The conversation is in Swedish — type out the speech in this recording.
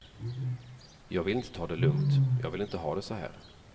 Jag vill inte ta det lugnt, och jag vill inte ha det såhär.